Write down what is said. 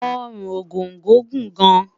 Orun Ogongo Gun gan